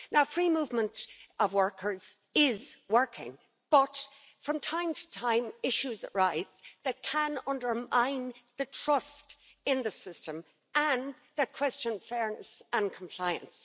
Free movement of workers is working, but from time to time issues arise that can undermine the trust in the system and that question fairness and compliance.